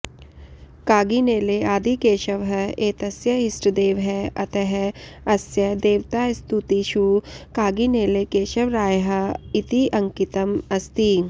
कागिनेले आदिकेशवः एतस्य इष्ठदेवः अतः अस्य देवतास्तुतिषु कागिनेले केशवरायः इति अङ्कितम् अस्ति